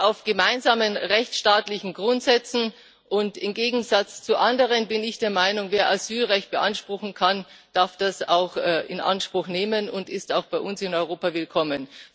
Europa basiert auf gemeinsamen rechtsstaatlichen Grundsätzen, und im Gegensatz zu anderen bin ich der Meinung Wer Asylrecht beanspruchen kann, darf das auch in Anspruch nehmen und ist auch bei uns in Europa willkommen.